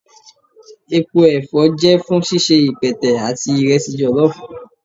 Epo ẹfọ jẹ fun ṣiṣe ipẹtẹ ati iresi jollof.